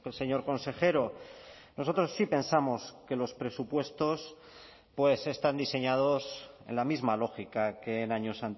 señor consejero nosotros sí pensamos que los presupuestos están diseñados en la misma lógica que en años